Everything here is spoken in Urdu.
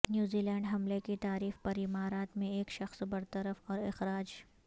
نیوزی لینڈ حملہ کی تعریف پر امارات میں ایک شخص برطرف اور اخراج